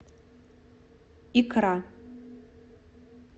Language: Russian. икра